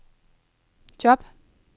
job